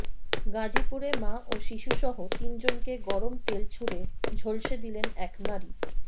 গাজীপুরে মা ও শিশুসহ তিনজনকে গরম তেল ছুড়ে ঝলসে দিলেন এক নারী